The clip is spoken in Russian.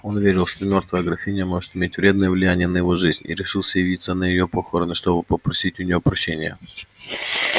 он верил что мёртвая графиня может иметь вредное влияние на его жизнь и решился явиться на её похороны чтобы попросить у неё прощения